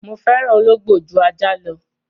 Mo fẹ́ràn ológbò ju ajá lọ.